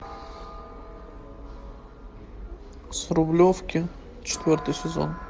с рублевки четвертый сезон